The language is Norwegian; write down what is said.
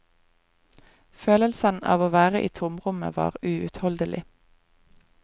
Følelsen av å være i tomrommet var uutholdelig.